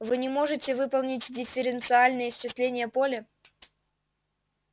вы не можете выполнить дифференциальное исчисление поля